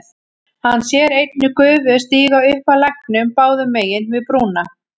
Hann sér einnig gufu stíga upp af læknum báðum megin við brúna.